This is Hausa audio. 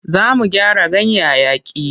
Za mu gyara ganyayyaki.